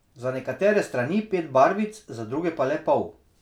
Za nekatere strani pet barvic za druge pa le pol.